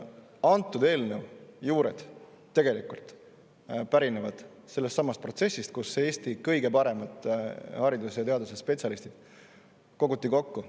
Antud eelnõu juured pärinevad tegelikult sellestsamast protsessist, kus Eesti kõige paremad haridus‑ ja teadusspetsialistid koguti kokku.